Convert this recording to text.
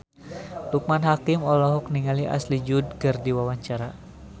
Loekman Hakim olohok ningali Ashley Judd keur diwawancara